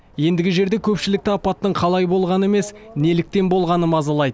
ендігі жерде көпшілікті апаттың қалай болғаны емес неліктен болғаны мазалайды